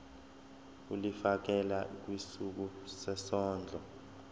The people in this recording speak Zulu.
ulifiakela kwisikulu sezondlo